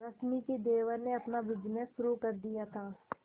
रश्मि के देवर ने अपना बिजनेस शुरू कर दिया था